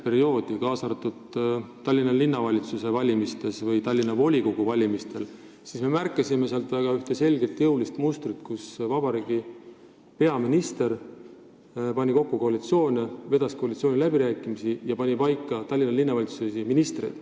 Kui me vaatasime Tallinna volikogu valimise eelset, aegset ja järgset perioodi, siis me märkasime seal väga selget jõulist mustrit: peaminister pani kokku koalitsioone, vedas koalitsiooniläbirääkimisi ja pani Tallinna Linnavalitsuses paika isegi ministreid.